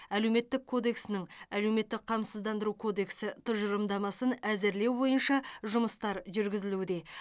әлеуметтік кодексінің әлеуметтік қамсыздандыру кодексі тұжырымдамасын әзірлеу бойынша жұмыстар жүргізілуде